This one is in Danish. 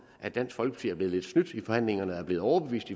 at dansk folkeparti er blevet snydt i forhandlingerne er blevet overbevist